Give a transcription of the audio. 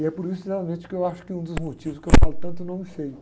E é por isso, sinceramente, que eu acho que é um dos motivos que eu falo tanto nome feio.